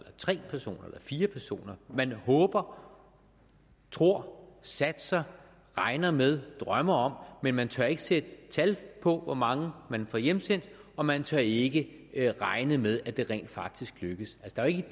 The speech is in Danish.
tre personer eller fire personer man håber tror satser regner med drømmer om men man tør ikke sætte tal på hvor mange man får hjemsendt og man tør ikke regne med at det rent faktisk lykkes der er jo ikke